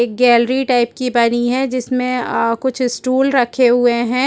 एक gallery type की बनी है जिसमें कुछ स्टूल रखे हुए हैं।